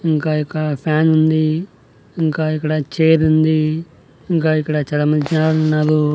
ఇంకా ఇక్కడ ఫ్యాన్ ఉంది ఇంకా ఇక్కడ చైర్ ఉంది ఇంకా ఇక్కడ చాలా మంది జనాలు ఉన్నారు.